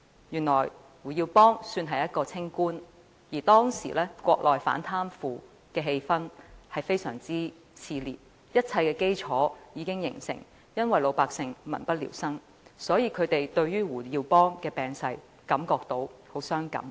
原來胡耀邦算是一名清官，而當時國內反貪腐的氣氛相當熾熱，一切基礎已經形成，也是由於老百姓民不聊生，所以他們對胡耀邦病逝感到很傷感。